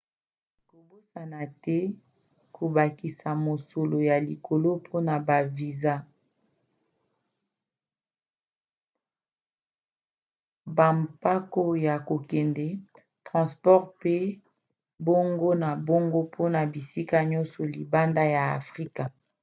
kobosana te kobakisa mosolo ya likolo mpona ba viza bampako ya kokende transport pe bongo na bongo mpona bisika yonso libanda ya afrika